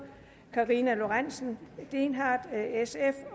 karina lorentzen dehnhardt